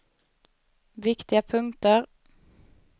viktiga punkter